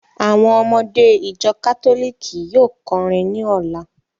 Àwọn ọmọdé ìjọ kátólìkì yóò kọrin ní ọ̀la.